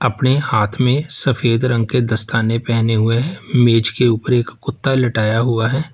अपने हाथ में सफेद रंग के दस्ताने पहने हुए हैं मेज के ऊपर एक कुत्ता लेटाया हुआ है।